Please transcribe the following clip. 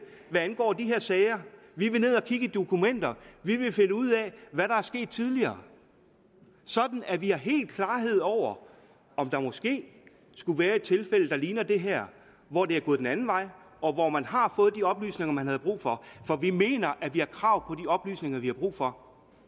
hvad angår de her sager vi vil ned og kigge i dokumenter vi vil finde ud af hvad der er sket tidligere sådan at vi har helt klarhed over om der måske skulle være et tilfælde der ligner det her hvor det er gået den anden vej og hvor man har fået de oplysninger man havde brug for for vi mener at vi har krav på oplysninger vi har brug for